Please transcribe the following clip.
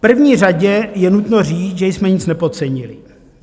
V první řadě je nutno říct, že jsme nic nepodcenili.